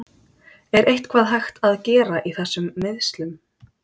Er eitthvað hægt að gera í þessum meiðslum?